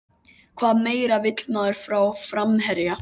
Hvað meira vill maður frá framherja?